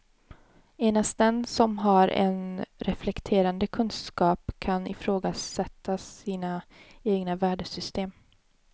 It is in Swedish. Endast den som har en reflekterande kunskap kan ifrågasätta sina egna värdesystem.